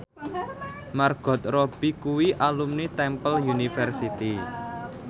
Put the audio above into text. Margot Robbie kuwi alumni Temple University